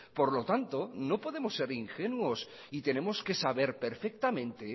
por lo tanto no podemos ser ingenuos y tenemos que saber perfectamente